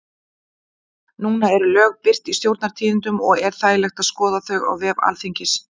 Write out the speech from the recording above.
Núna eru lög birt í Stjórnartíðindum og er þægilegt að skoða þau á vef Alþingis.